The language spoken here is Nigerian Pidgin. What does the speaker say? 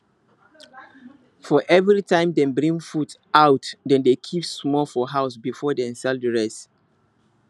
for every time dem bring food out dem dey keep small for house before dem sell the rest